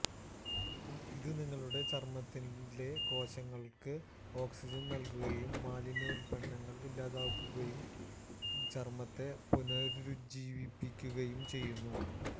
ഇത് നിങ്ങളുടെ ചര്മ്മത്തിലെ കോശങ്ങള്ക്ക് ഓക്സിജന് നല്കുകയും മാലിന്യ ഉല്പന്നങ്ങള് ഇല്ലാതാക്കുകയും ചര്മ്മത്തെ പുനരുജ്ജീവിപ്പിക്കുകയും ചെയ്യുന്നു